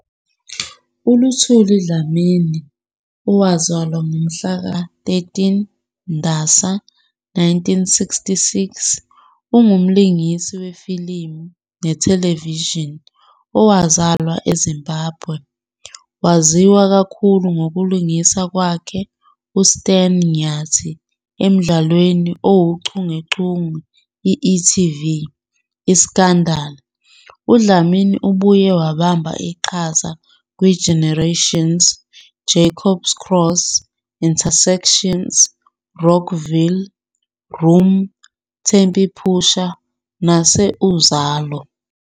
ULuthuli Dlamini, owazalwa ngomhlaka 13 Ndasa 1966, ungumlingisi wefilimu nethelevishini ozalwa eZimbabwe. Waziwa kakhulu ngokulingisa kwakhe uStan Nyathi emdlalweni owuchungechunge i-e.tv ", iScandal!". UDlamini ubuye wabamba iqhaza "kwiGenerations","Jacob's Cross", "InterSEXions",R"ockville", "Room", "Tempy Pushas", "naseUzalo."